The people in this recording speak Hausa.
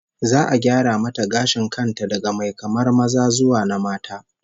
Za'a gyara mata gashin kan ta daga mai kamar maza zuwa na mata